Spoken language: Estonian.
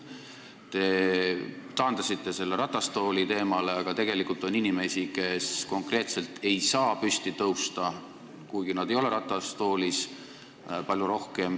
Te taandasite selle ratastooliteemale, aga tegelikult on palju rohkem neid inimesi, kes konkreetselt ei saa püsti tõusta, kuigi nad ei ole ratastoolis.